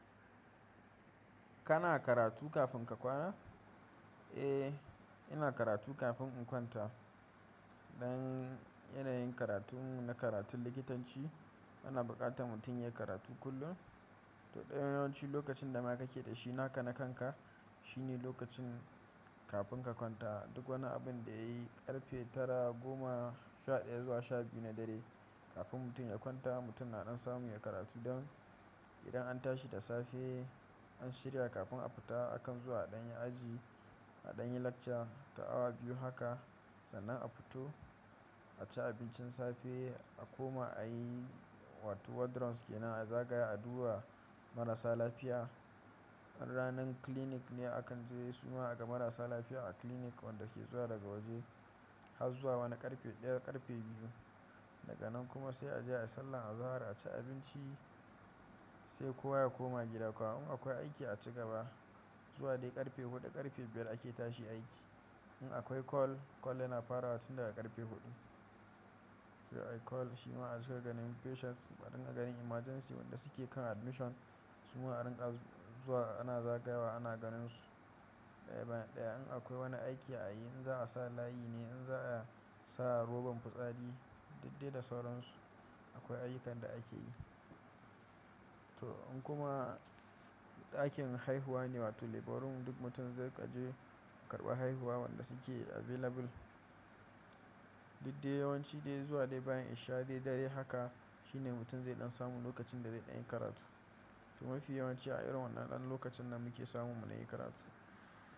Kana karatu kafin ka kwana? Eh, ina karatu kafin in kwanta. Don yanayin karatun mu na karatun likitanci ana bukatar mutun ya karatu kullum. To dai yawanci lokacin da ma kake da shi naka na kanka shine lokacin kafin ka kwanta. Duk wani abun da ya yi karfe tara, goma, sha daya zuwa sha biyu na dare kafin mutum ya kwanta mutum na don samu ya karatu don idan an tashi da safe, an shirya kafin a fita akan zuwa a ɗan aji, a ɗan yi lakca ta awa biyu haka sannan a futo a ci abincin safe a koma a yi wato ward rounds ke na a zagaya a duba marasa lafiya. In ranan clinic ne akan je suma aga marasa lafiya a clinic wanda ke zuwa daga waje har zuwa wani karfe daya karfe biyu. Daga nan kuma sai a je a sallah, a zahar, a ci abinci sai kowa ya koma gida. Kwana in akwai aiki a ci gaba zuwa dai karfe huɗu karfe biyar ake tashi aiki. In akwai call, call yana farawa tun daga karfe huɗu. Sai a yi call shima a zo a ganin patients kuma a ringa ganin emergency wanda suke kan admission suma a ringa zuwa ana zagayawa ana ganin su. Daya bayan daya in akwai wani aiki a yi in za a sa layi ne in za a sa rogon fitsari duk dai da sauransu akwai ayyukan da akeyi. To in kuma ɗakin haihuwa ne wato labour room duk mutum zai kaje karɓa haihuwa wanda suke available. Duk dai yawanci dai zuwa dai bayan isha dai dare haka shine mutum zai ɗan samu lokacin da zai ɗan yi karatu. Kuma fi yawanci a irin wannan ɗan lokacin na muke samun mu na yi karatu.